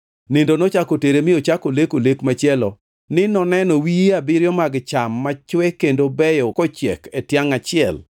Nindo nochako otere mi ochako oleko lek machielo ni noneno wiye abiriyo mag cham machwe kendo beyo kochiek e tiangʼ achiel.